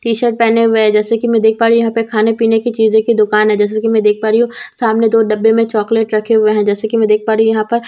T shirt पेहने हुए है जैसे की मैं देख पा रही यहां पर खाने पीने की चीज की दुकान है जैसे की मैं देख पा रही हूं सामने दो डब्बे में चॉकलेट रखे हुए हैं जैसे की मैं देख पा रही यहां पर--